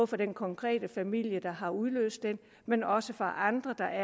for den konkrete familie der har udløst den men også for andre der